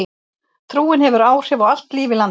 Trúin hefur áhrif á allt líf í landinu.